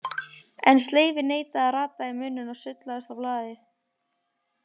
En sleifin neitaði að rata í munninn og sullaðist á blaðið.